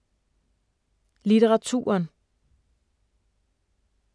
Litteraturen